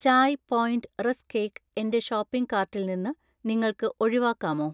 Chai point rusk cake എന്‍റെ shopping കാർട്ടിൽ നിന്ന് നിങ്ങൾക്ക് ഒഴിവാക്കാമോ?